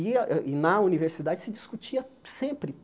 E, a e na universidade, se discutia sempre.